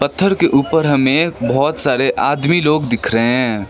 पत्थर के ऊपर हमें बहुत सारे आदमी लोग दिख रहे हैं।